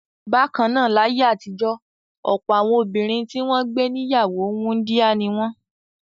Bákan náà, láyé àtijọ́ ọ̀pọ̀ àwọn obìnrin tí wọ́n gbé ní ìyàwó wúńdíá ni wọ́n.